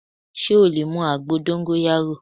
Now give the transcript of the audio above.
Sé o lè mu àgbo dóngóyárò